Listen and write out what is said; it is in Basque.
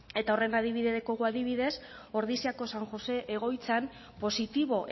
eta horren adibide dekogu adibidez ordiziako san josé egoitzan positibo